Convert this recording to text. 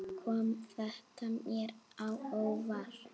Kom þetta mér á óvart?